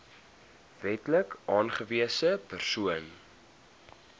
wetlik aangewese persoon